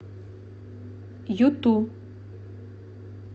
юту